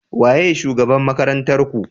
Waye shugaban makarantar Ku?